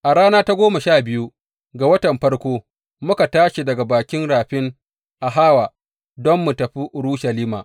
A rana ta goma sha biyu ga watan farko, muka tashi daga bakin rafin Ahawa don mu tafi Urushalima.